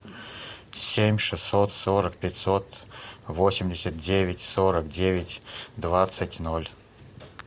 семь шестьсот сорок пятьсот восемьдесят девять сорок девять двадцать ноль